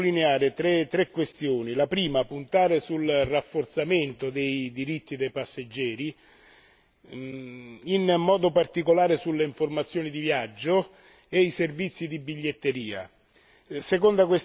Io voglio sottolineare tre questioni puntare sul rafforzamento dei diritti dei passeggeri in modo particolare sulle informazioni di viaggio e i servizi di biglietteria